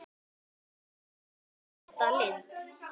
dóttir þeirra er Hulda Lind.